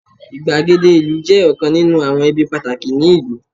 igbagede ìlú je ọkàn ninu awọn ibi pataki ni ìlú